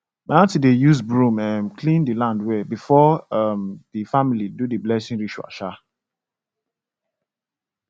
my aunty dey use broom um clean the land well before um the family do the blessing ritual um